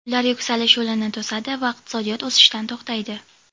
ular yuksalish yo‘lini to‘sadi va iqtisodiyot o‘sishdan to‘xtaydi.